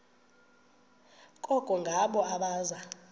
koko ngabo abaza